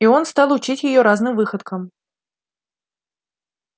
и он стал учить её разным выходкам